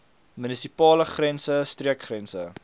munisipale grense streekgrense